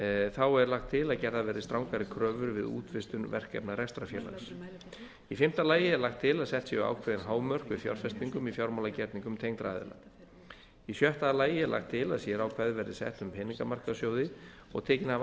þá er lagt til að gerðar verði strangari kröfur við útvistun verkefna rekstrarfélags í fimmta lagi er lagt til að sett séu ákveðin hámörk við fjárfestingum í fjármálagerningum tengdra aðila í sjötta lagi er lagt til að sérákvæði verði sett um peningamarkaðssjóði og tekinn af